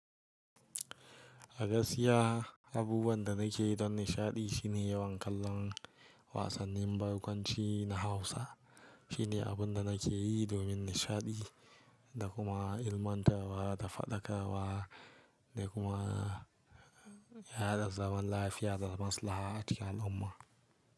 A gaskiya, abubuwan da nake don nishaɗi shine yawan kallon wasannin barkwanci na Hausa. Shine abun da nake yi domin nishaɗi da kuma ilmantarwa da faɗakarwa da kuma yada zaman lafiya da maslaha a cikin al'umma.